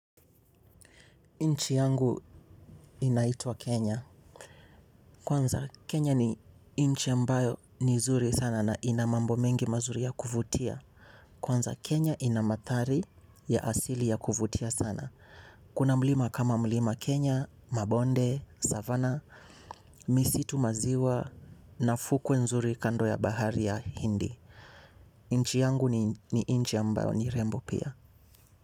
Nchi yangu inaitwa Kenya. Kwanza Kenya ni inchi ambayo ni zuri sana na ina mambo mengi mazuri ya kuvutia. Kwanza Kenya ina mathari ya asili ya kuvutia sana. Kuna mlima kama mlima Kenya, mabonde, Savannah, misitu maziwa na fukwe nzuri kando ya bahari ya Hindi. Nchi yangu ni inchi ambayo ni rembo pia.